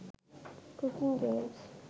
cooking games